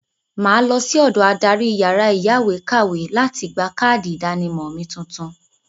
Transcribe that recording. Mà á lọ sí ọ̀dọ adarí yàrá ìyáwèékàwé láti gba káàdì ìdánimọ̀ mi tuntun.